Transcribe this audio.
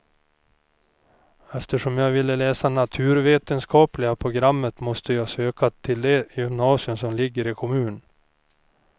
Eftersom jag ville läsa naturvetenskapliga programmet måste jag söka till det gymnasium som ligger i kommunen.